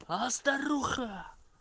а старуха